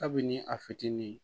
Kabini a fitinin